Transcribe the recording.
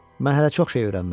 Mən hələ çox şey öyrənməliyəm.